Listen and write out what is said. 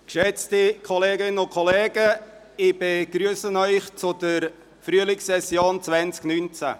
Geschätzte Kolleginnen und Kollegen, ich begrüsse Sie zur Frühlingssession 2019.